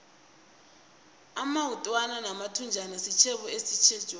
amawutwana namathunjana sitjhebo esithengwako